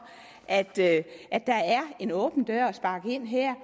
at der er en åben dør at sparke ind her